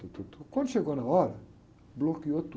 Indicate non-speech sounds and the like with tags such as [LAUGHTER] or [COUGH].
[UNINTELLIGIBLE] Quando chegou na hora, bloqueou tudo.